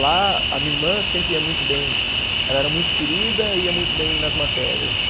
Lá a minha irmã sempre ia muito bem, ela era muito querida e ia muito bem nas matérias.